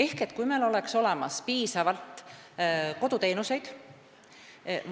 Ehk kui meil oleks olemas piisavalt koduteenuseid